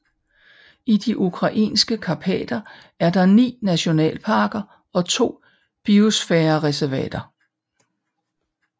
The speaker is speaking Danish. I de ukrainske karpater er der ni nationalparker og to biosfærereservater